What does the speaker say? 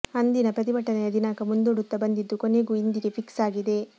ಅಂದಿನ ಪ್ರತಿಭಟನೆಯ ದಿನಾಂಕ ಮುಂದೂಡುತ್ತಾ ಬಂದಿದ್ದು ಕೊನೆಗೂ ಇಂದಿಗೆ ಫಿಕ್ಸ್ ಆಗಿದೆ